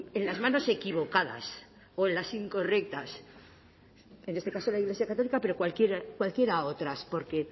en las manos equivocadas o en las incorrectas en este caso la iglesia católica pero cualquier otras porque